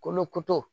Kolo